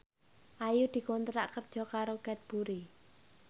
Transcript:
Ayu dikontrak kerja karo Cadbury